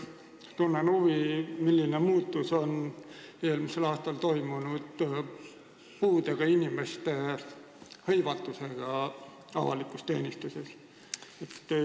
Tunnen huvi, milline muutus on eelmisel aastal toimunud puudega inimeste avalikus teenistuses hõivatuse vallas.